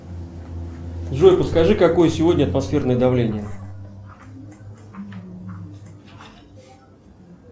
джой подскажи какое сегодня атмосферное давление